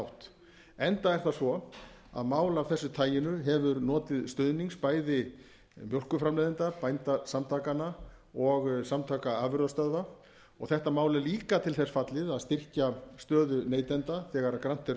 átt enda er það svo að mál af þessu taginu hefur notið stuðnings bæði mjólkurframleiðenda bændasamtakanna og samtaka afurðastöðva og þetta mál er líka til þess fallið að styrkja stöðu neytenda þegar grannt